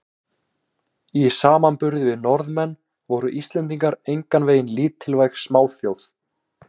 Í samanburði við Norðmenn voru Íslendingar engan veginn lítilvæg smáþjóð.